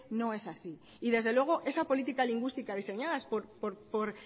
no es así y desde luego esa política lingüística diseñadas por